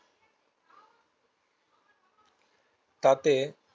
তাতে